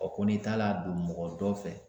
ko n'i taala don mɔgɔ dɔ fɛ